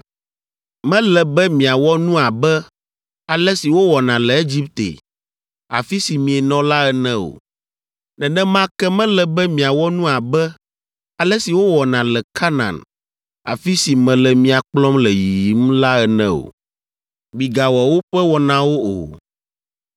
Mele be miawɔ nu abe ale si wowɔna le Egipte, afi si mienɔ la ene o. Nenema ke mele be miawɔ nu abe ale si wowɔna le Kanaan, afi si mele mia kplɔm le yiyim la ene o. Migawɔ woƒe wɔnawo o.